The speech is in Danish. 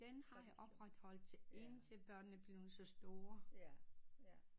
Den har jeg opretholdt til indtil børnene er blevet så store